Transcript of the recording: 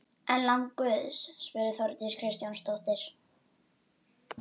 Ennfremur skulu fylgja tilkynningu önnur gögn og skjöl.